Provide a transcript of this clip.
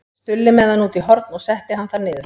Stulli með hann út í horn og setti hann þar niður.